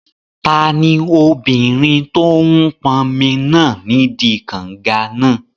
Tani obìnrin tó n pọnmi náà nídi kànga náà?